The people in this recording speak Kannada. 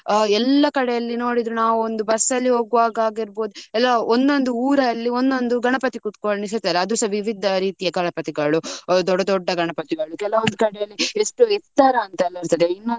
ಎಲ್ಲಾ ಕಡೆಯಲ್ಲಿ ನೋಡಿದ್ರು ನಾವು ಒಂದು bus ಅಲ್ಲಿ ಹೋಗ್ವಾಗ ಆಗಿರ್ಬೋದು ಎಲ್ಲಾ ಒಂದ್ ಒಂದು ಊರಲ್ಲಿ ಒಂದ್ ಒಂದು ಗಣಪತಿ ಕೂತ್ಕೊಂಡಿಸ್ತಾರೆ. ಅದುಸ ವಿವಿಧ ರೀತಿ ಗಣಪತಿಗಳು. ದೊಡ್ಡ ದೊಡ್ಡ ಗಣಪತಿಗಳು ಕೆಲವೊಂದು ಕಡೆಯಲ್ಲಿ ಎಷ್ಟು ಎತ್ತರ ಅಂತ ಎಲ್ಲಾ ಇರ್ತದೆ.